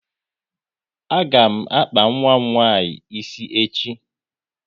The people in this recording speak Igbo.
A ga m akpa nwa m nwaanyị ịsị echi